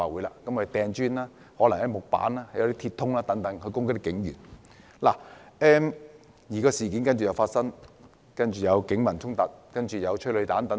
他們投擲磚塊、木板及鐵通等物件攻擊警員，事件隨而惡化，開始發生警民衝突和發射催淚彈。